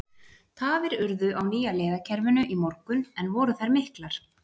Tafir urðu á nýja leiðakerfinu í morgun en voru þær miklar?